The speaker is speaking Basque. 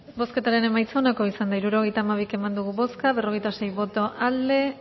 bozketaren emaitza onako izan da hirurogeita hamabi eman dugu bozka berrogeita sei boto aldekoa